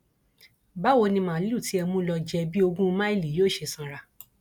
báwo ni màálùú tí ẹ mú lọọ jẹ bíi ogún máìlì yóò ṣe sanra